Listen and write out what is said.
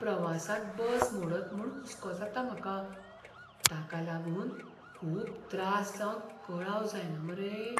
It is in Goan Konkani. प्रवासांत बस मोडत म्हूण हुसको जाता म्हाका, ताका लागून खूब त्रास जावन कळाव जायना मरे?